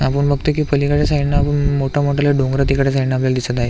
आपण बघतोय की पलीकडच्या साइडन अजून मोठा मोठाले डोंगर आपल्याला दिसत आहे.